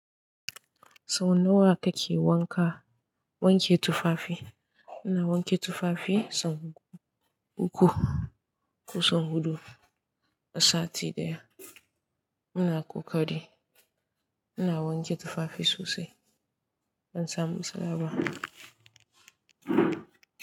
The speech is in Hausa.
Sau nawa kake wanka, wanke tufafi? Ina wanke tufafi sau uku, ko sau huɗu a sati ɗaya. Ina ƙoƙari ina wanke tufafi sosai don samun samawa.